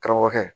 Karamɔgɔkɛ